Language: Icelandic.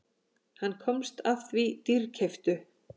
Hann komst að því dýrkeyptu.